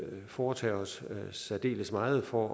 foretage os særdeles meget for